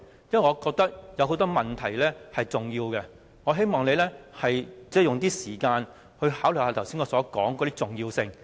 因為我覺得有很多問題是重要的，我希望你花點時間考慮我剛才提出的事項的重要性。